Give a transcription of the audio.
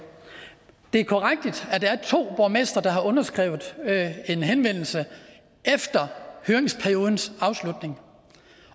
det er korrekt at der er to borgmestre der har underskrevet en henvendelse efter høringsperiodens afslutning